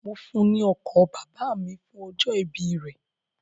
Mo fún un ní ọkọ̀ bàbà mi fún ọjọ́ ìbí rẹ̀.